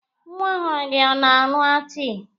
Nwa ọhụrụ gị ọ na-aṅụ tii?